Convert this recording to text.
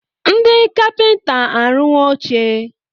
Ndị kapịnta arụwo oche.